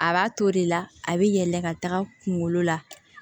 A b'a to de la a bɛ yɛlɛ ka taga kungolo la